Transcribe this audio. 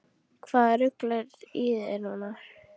Hvaða rugl er í þér núna?